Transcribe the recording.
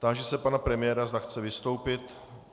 Táži se pana premiéra, zda chce vystoupit.